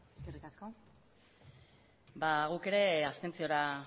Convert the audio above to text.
eskerrik asko ba guk ere abstentziora